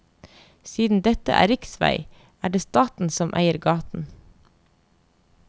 Siden dette er riksvei, er det staten som eier gaten.